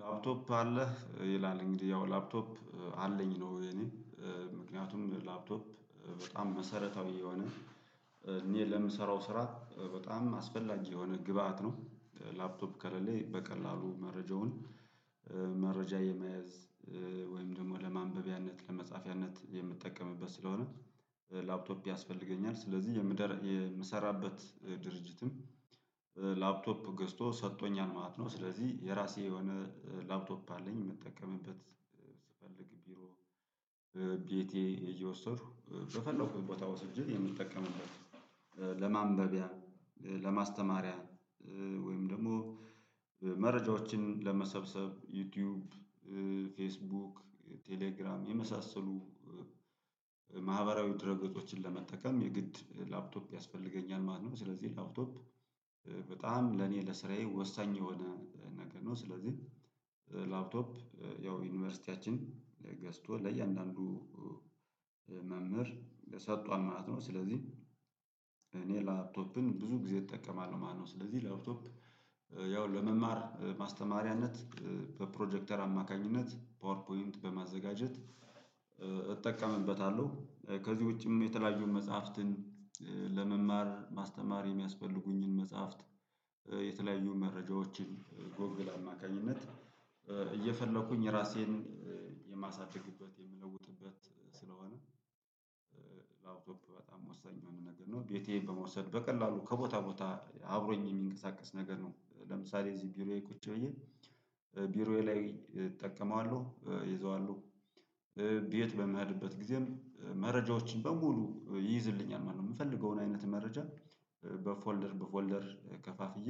ላፕቶፕ አለህ ይላል እንግዲህ ያው ላፕቶፕ አለኝ ነው የኔ ምክንያቱም ላፕቶፕ በጣም መሰረታዊ የሆነ እኔ ለምሰራው ስራ በጣም አስፈላጊ የሆነ ግብአት ነው። ላፕቶፕ ከሌለ በቀላሉ መረጃውን መረጃ የመያዝ ወይም ደግሞ ለማንበቢያነት ለመጻፊያነት የምትጠቀምበት ስለሆነ። ላፕቶፕ ያስፈልገኛል ስለዚህ የምሰራበት ድርጅትም ላፕቶፕ ገዝቶ ሰጥቶኛል ማለት ነው። ስለዚህ የራሴ የሆነ ላፕቶፕ አለኝ የምጠቀምበት። ስፈልግ ቢሮ ቢቴ እየወሰድኩ በፈለኩት ቦታ ወስጄ የምትጠቀምበት ለማንበቢያ ለማስተማሪያ ወይም ደግሞ መረጃዎችን ለመሰብሰብ ዩቲዩብ ፌስቡክ ቴሌግራም የመሳሰሉ ማህበራዊ ድርገጦችን ለመጠቀም የግድ ላፕቶፕ ያስፈልገኛል ማለት ነው። ስለዚህ ላፕቶፕ በጣም ለኔ ለስራዬ ወሳኝ የሆነ ነገር ነው። ስለዚህ ላፕቶፕ ያው ዩኒቨርሲቲያችን ገዝቶ ለእያንዳንዱ መምህር ሰጥቷል ማለት ነው። ስለዚህ እኔ ላፕቶፕን ብዙ ጊዜ እጠቀማለሁ ማለት ነው። ስለዚህ ላውትኮፕ ያው ለመማር ማስተማሪያነት በፕሮጀክተር አማካኝነት ፓወር ፖይንት በማዘጋጀት እጠቀምበታለሁ። ከዚህ ውጪም የተለያዩን መጽሐፍትን ለመማር ማስተማር የሚያስፈልጉኝን መጽሐፍት የተለያዩ መረጃዎችን ጎግል አማካኝነት እየፈለኩኝ ራሴን የማሳድግበት የምለውጥበት ስለሆነ። በጣም ወሳኝ የሆነ ነገር ነው። ቤቴ በመውሰድ በቀላሉ ከቦታ ቦታ አብሮኝ የሚንቀሳቀስ ነገር ነው። ለምሳሌ እዚህ ቢሮዬ ቁጭ ብዬ ቢሮዬ ላይ እጠቀማለሁ ይዘዋለሁ ቤት በምህርበት ጊዜም መረጃዎችን በሙሉ ይይዝልኛል ማለት ነው። የምፈልገውን አይነት መረጃ በፎልደር በፎልደር ከፋፍዬ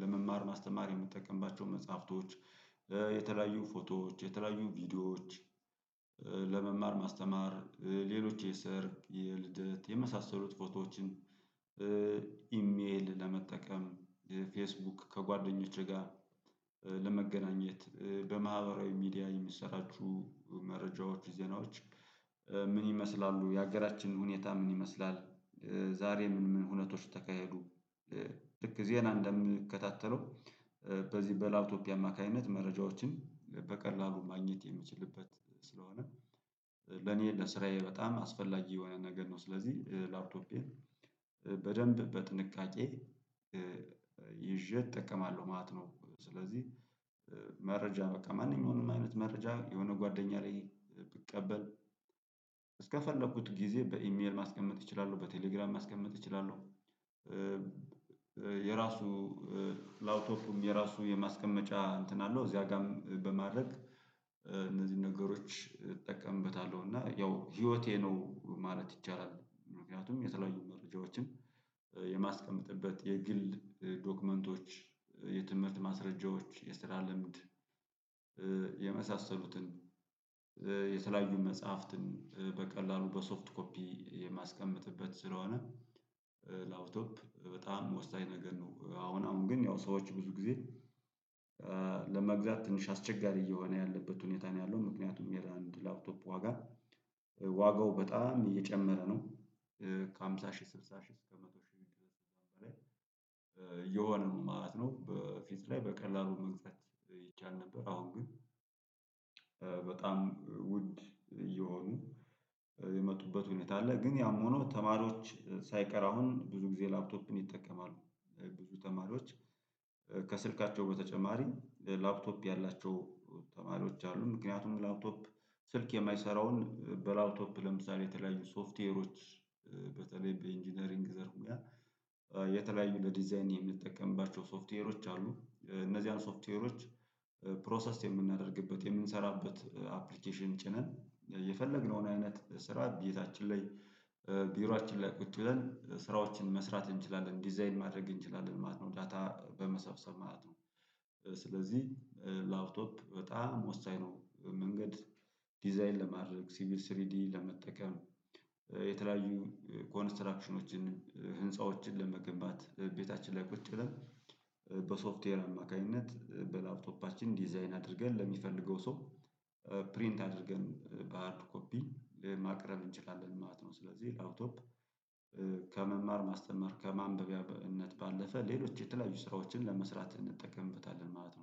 ለመማር ማስተማር የምትጠቀምባቸው መጽሐፍቶች የተለያዩ ፎቶዎች የተለያዩ ቪዲዮዎች ለመማር ማስተማር ሌሎች የሰርግ የልደት የመሳሰሉት ፎቶዎችን ኢሜል ለመጠቀም ፌስቡክ ከጓደኞቼ ጋር ለመገናኘት በማህበራዊ ሚዲያ የምትሰራችሁ። ዜናዎች ምን ይመስላሉ? የሀገራችን ሁኔታ ምን ይመስላል? ዛሬ ምን ምን ሁነቶች ተካሄዱ? ልክ ዜና እንደምንከታተለው በዚህ በላፕቶፕ አማካኝነት መረጃዎችን በቀላሉ ማግኘት የምችልበት ስለሆነ። ለኔ ለስራዬ በጣም አስፈላጊ የሆነ ነገር ነው። ስለዚህ ላፕቶፒየም በደንብ በጥንቃቄ ይዤ እጠቀማለሁ ማለት ነው። ስለዚህ መረጃ በቃ ማንኛውንም አይነት መረጃ የሆነ ጓደኛ ላይ ብቀበል እስከፈለኩት ጊዜ በኢሜል ማስቀመጥ እችላለሁ በቴሌግራም ማስቀመጥ እችላለሁ። የራሱ ላፕቶፕም የራሱ የማስቀመጫ እንትን አለው እዚያ ጋር በማድረግ እነዚህን ነገሮች እጠቀምበታለሁ። እና ያው ህይወቴ ነው ማለት ይቻላል። ምክንያቱም የተለያዩ መረጃዎችን የማስቀመጥበት የግል ዶክመንቶች የትምህርት ማስረጃዎች የስራ ልምድ የመሳሰሉትን የተለያዩን መጽሐፍትን በቀላሉ በሶፍት ኮፒ የማስቀምጥበት ስለሆነ። በጣም ወሳኝ ነገር ነው አሁን አሁን ግን ያው ሰዎች ብዙ ጊዜ ለመግዛት ትንሽ አስቸጋሪ እየሆነ ያለበት ሁኔታ ነው ያለው ምክንያቱም የአንድ ላፕቶፕ ዋጋ ዋጋው በጣም እየጨመረ ነው። ከሃምሳ ሺህ ስልሳ ሺህ እስከ መቶ ሺህ ብር በላይ የሆነ ነው ማለት ነው። በፊት ላይ በቀላሉ መግዛት ይቻል ነበር አሁን ግን በጣም ውድ እየሆኑ የመጡበት ሁኔታ አለ። ግን ያም ሆኖ ተማሪዎች ሳይቀር አሁን ብዙ ጊዜ ላፕቶፕን ይጠቀማሉ። ብዙ ተማሪዎች ከስልካቸው በተጨማሪ ላፕቶፕ ያላቸው ተማሪዎች አሉ። ምክንያቱም ላፕቶፕ ስልክ የማይሰራውን በላፕቶፕ ለምሳሌ የተለያዩ ሶፍትዌሮች በተለይ በኢንጂነሪንግ ዘር ሁኔታ የተለያዩ ለዲዛይን የምትጠቀምባቸው ሶፍትዌሮች አሉ። እነዚህን ሶፍትዌሮች ፕሮሰስ የምናደርግበት የምንሰራበት አፕሊኬሽን ጭነን የፈለግነውን አይነት ስራ ቤታችን ላይ ቢሮአችን ላይ ቁጭ ብለን ስራዎችን መስራት እንችላለን ዲዛይን ማድረግ እንችላለን ማለት ነው። ዳታ በመሰብሰብ ማለት ነው። ስለዚህ ላፕቶፕ በጣም ወሳኝ ነው። መንገድ ዲዛይን ለማድረግ ሲቪል ስሪዲ ለመጠቀም የተለያዩ ኮንስትራክሽኖችን ህንፃዎችን ለመገንባት ቤታችን ላይ ቁጭ ብለን በሶፍትዌር አማካኝነት በላፕቶፓችን ዲዛይን አድርገን ለሚፈልገው ሰው ፕሪንት አድርገን ባህርድ ኮፒ ለማቅረብ እንችላለን ማለት ነው። ስለዚህ ላውቶፕ ከመማር ማስተማር ከማንበቢያነት ባለፈ ሌሎች የተለያዩ ስራዎችን ለመስራት እንጠቀምበታለን ማለት ነው